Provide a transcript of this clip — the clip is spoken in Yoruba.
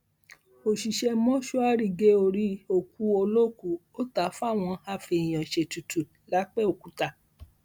òṣìṣẹ mọṣúárì gé orí òkú olókùú ó ta á fáwọn afèèyàn ṣètùtù lápẹọkúta